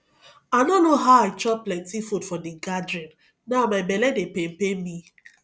i no know how i chop plenty food for the gathering now my bele dey pain pain me